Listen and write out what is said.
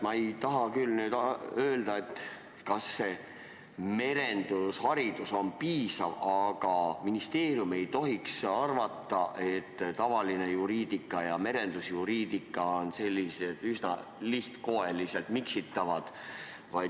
Mina ei taha öelda, kas merendusharidusest piisab, aga ministeerium ei tohiks arvata, et tavaline juriidika ja merendusjuriidika on selliselt üsna lihtkoeliselt miksitavad.